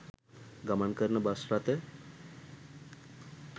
ගමන් කරන බස් රථ